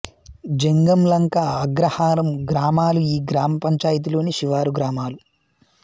జంగంలంక అగ్రహారం గ్రామాలు ఈ గ్రామ పంచాయతీలోని శివారు గ్రామాలు